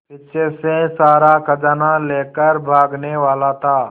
पीछे से सारा खजाना लेकर भागने वाला था